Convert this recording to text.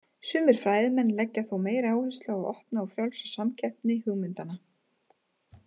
Sumir fræðimenn leggja þó meiri áherslu á opna og frjálsa samkeppni hugmyndanna.